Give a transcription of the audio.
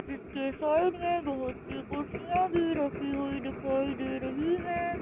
जिसके साइड में बहुत सी कुर्सियां भी रखी हुई दिखाई दे रही है।